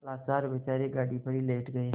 लाचार बेचारे गाड़ी पर ही लेट गये